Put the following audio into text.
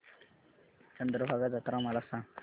चंद्रभागा जत्रा मला सांग